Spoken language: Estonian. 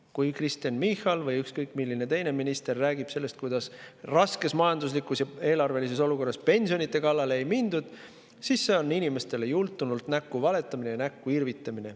Kui Kristen Michal või ükskõik milline teine minister räägib sellest, kuidas raskes majanduslikus ja eelarvelises olukorras pensionide kallale ei minda, siis see on inimestele jultunult näkku valetamine ja näkku irvitamine.